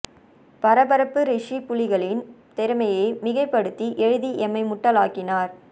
பரபரப்பு ரிஷி புலிகளின் திறமையை மிகைப்படுத்தி எழுதி எம்மை முட்டாள் ஆக்கினார்